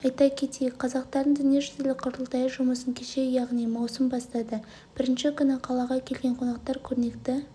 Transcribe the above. айта кетейік қазақтардың дүниежүзілік құрылтайы жұмысын кеше яғни маусым бастады бірінші күні қалаға келген қонақтар көрнекті